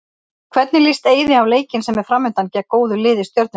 Hvernig líst Eiði á leikinn sem er framundan, gegn góðu lið Stjörnunnar?